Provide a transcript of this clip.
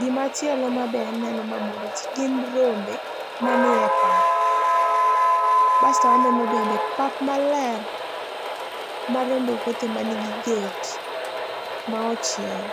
Gimachielo mabe aneno ma moro jii gin rombe manie pap. Basto aneno bende pap maler ma rombe wuothe manigi gate ma ochiel